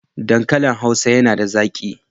Dankalin Hausa yana da zaƙi.